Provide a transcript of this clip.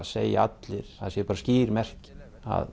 segja allir að það sé bara skýr merki að